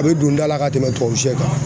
A bɛ don da la ka tɛmɛ tubabu shɛ kan.